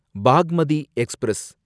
Bagmati express